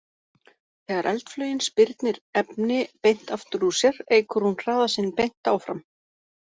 Þegar eldflaugin spyrnir efni beint aftur úr sér eykur hún hraða sinn beint áfram.